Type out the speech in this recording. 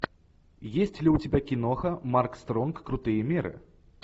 есть ли у тебя киноха марк стронг крутые меры